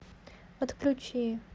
отключи